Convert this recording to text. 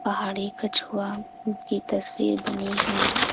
पहाड़ी कछुआ की तस्वीर बनी है।